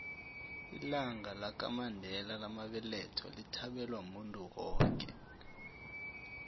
ilanga lamandela lamabeletho lithabelwa muntu woke